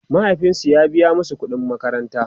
mahaifinsu ya biya masu ƙuɗin makaranta